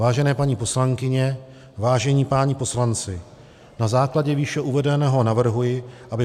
Vážené paní poslankyně, vážení páni poslanci, na základě výše uvedeného navrhuji, aby